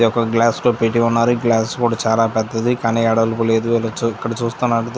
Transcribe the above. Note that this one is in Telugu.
ఇదొక గ్లాస్ లో పెట్టి ఉన్నారు గ్లాస్ కూడా చాలా పెద్దది కానీ వెడల్పు లేదు ఇక్కడ చూస్తున్నట్లయితే--